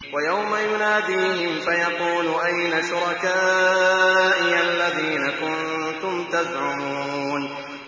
وَيَوْمَ يُنَادِيهِمْ فَيَقُولُ أَيْنَ شُرَكَائِيَ الَّذِينَ كُنتُمْ تَزْعُمُونَ